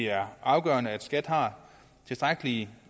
er afgørende at skat har tilstrækkelige